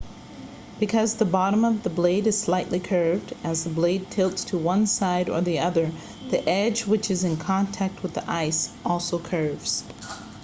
because the bottom of the blade is slightly curved as the blade tilts to one side or the other the edge which is in contact with the ice also curves